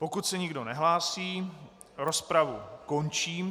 Pokud se nikdo nehlásí, rozpravu končím.